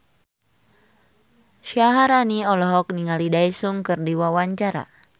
Syaharani olohok ningali Daesung keur diwawancara